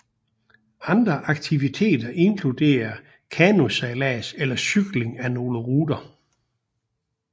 Andre aktiviteter inkluderer kanosejlads eller cykling af nogle ruter